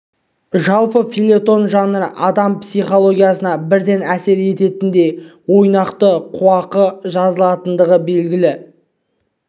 жалпы фельетон жанры адам психологиясына бірден әсер ететіндей ойнақы қуақы жазылатындығы белгілі